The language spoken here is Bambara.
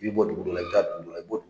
I bi bɔ dugu dɔ la i bɛ taa dugu dɔ la